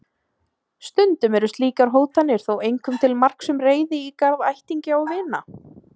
Stundum eru slíkar hótanir þó einkum til marks um reiði í garð ættingja og vina.